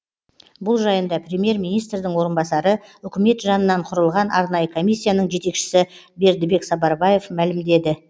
бұл жайында премьер министрдің орынбасары үкімет жанынан құрылған арнайы комиссияның жетекшісі бердібек сапарбаев мәлімдеді